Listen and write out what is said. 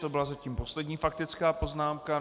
To byla zatím poslední faktická poznámka.